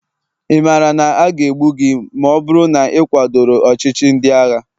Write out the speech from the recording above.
ị maara na aga egbu gị ma ọ bụrụ na ị kwadoro ọchịchị ndị agha?